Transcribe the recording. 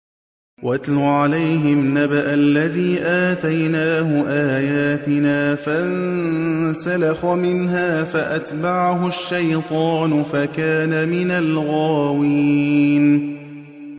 وَاتْلُ عَلَيْهِمْ نَبَأَ الَّذِي آتَيْنَاهُ آيَاتِنَا فَانسَلَخَ مِنْهَا فَأَتْبَعَهُ الشَّيْطَانُ فَكَانَ مِنَ الْغَاوِينَ